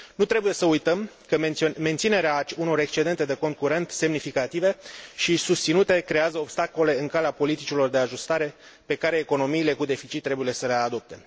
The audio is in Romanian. Nu trebuie să uităm că menținerea unor excedente de cont curent semnificative și susținute creează obstacole în calea politicilor de ajustare pe care economiile cu deficit trebuie să le adopte.